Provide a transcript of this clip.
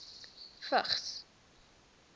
vigs